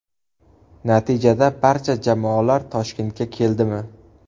Natijada barcha jamoalar Toshkentga keldi mi ?